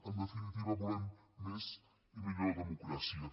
en definitiva volem més i millor democràcia